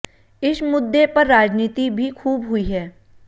इश मुद्दे पर राजनीति भी खूब हुई है